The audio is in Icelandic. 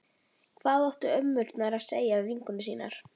Hvað áttu ömmurnar að segja við vinkonur sínar?